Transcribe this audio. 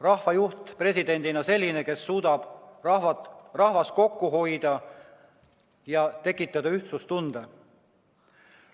rahvajuht presidendina selline, kes suudab rahvast koos hoida ja tekitada ühtsustunde.